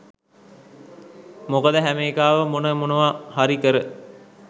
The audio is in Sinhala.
මොකද හැම එකාම මොන මොනවා හරි කර